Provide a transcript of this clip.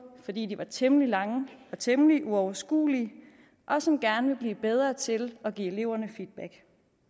fordi de var temmelig lange og temmelig uoverskuelige og som gerne vil blive bedre til at give eleverne det er